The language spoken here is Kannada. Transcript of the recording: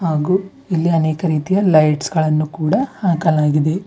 ಹಾಗು ಇಲ್ಲಿ ಅನೇಕ ರೀತಿಯ ಲೈಟ್ಸ್ ಗಳನ್ನು ಕೂಡ ಹಾಕಲಾಗಿದೆ.